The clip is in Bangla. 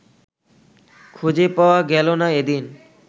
খুঁজে পাওয়া গেল না এদিন